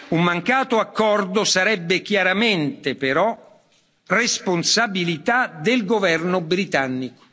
Un mancato accordo sarebbe chiaramente, però, responsabilità del governo britannico.